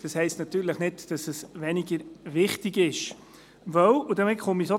Das heisst natürlich nicht, dass er weniger wichtig ist.